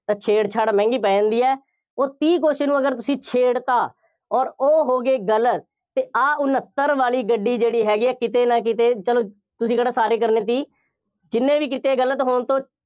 ਤਾਂ ਛੇੜਛਾੜ ਮਹਿੰਗੀ ਪੈ ਜਾਂਦੀ ਹੈ। ਉਹ ਤੀਹ question ਨੂੰ ਅਗਰ ਤੁਸੀਂ ਛੇੜ ਤਾ, ਅੋਰ ਉਹ ਹੋ ਗਏ ਗਲਤ, ਅਤੇ ਆਹ ਉਨੱਤਰ ਵਾਲੀ ਗੱਡੀ ਜਿਹੜੀ ਹੈਗੀ ਹੈ ਕਿਤੇ ਨਾ ਕਿਤੇ ਚੱਲੋ ਤੁਸੀਂ ਕਿਹੜਾ ਸਾਰੇ ਕਰਨੇ ਤੀਹ, ਜਿੰਨੇ ਵੀ ਕੀਤੇ ਗਲਤ ਹੋਣ ਤੋਂ,